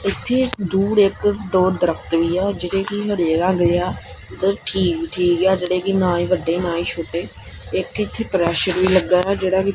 ਇੱਥੇ ਦੂਰ ਇੱਕ ਦੋ ਦਰੱਖਤ ਵੀ ਹੈਂ ਜਿਹੜੇ ਕੀ ਹਰੇ ਰੰਗ ਦੇ ਆ ਤੇ ਠੀਕ ਠੀਕ ਹੈ ਜੇਹੜੇ ਕੀ ਨਾ ਹੀ ਵੱਡੇ ਨਾ ਹੀ ਛੋਟੇ ਇੱਕ ਇੱਥੇ ਪ੍ਰੇਸ਼ਰ ਵੀ ਲੱਗਾ ਹੈ ਜੇਹੜਾ ਕੀ--